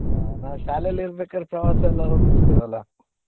ಆ ನಾವ್ ಶಾಲೆಲಿ ರ್ಬೇಕಾರ್ ಪ್ರವಾಸ ಎಲ್ಲಾ ಹೋಗ್ತಿದ್ವ ಅಲ್ಲಾ.